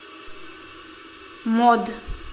мод